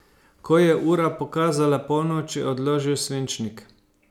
Ko je ura pokazala polnoč, je odložil svinčnik.